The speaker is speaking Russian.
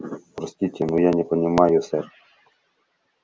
простите но я не понимаю сэр